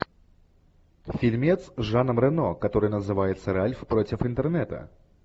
фильмец с жаном рено который называется ральф против интернета